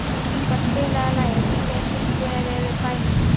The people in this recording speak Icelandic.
Ingvar, spilaðu lagið „Hve þungt er yfir bænum“.